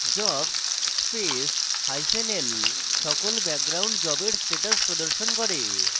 jobs space hyphen l সকল background জবের status প্রদর্শন করে